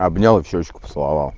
обнял и в щёчку поцеловал